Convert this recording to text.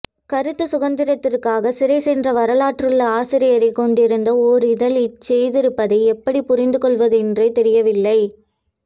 கருத்து சுதந்திரத்துக்காக சிறைசென்ற வரலாறுள்ள ஆசியரைக் கொண்டிருந்த ஓர் இதழ் இதைச்ச்செய்திருப்பதை எப்படி புரிந்துகொள்வதென்றே தெரியவில்லை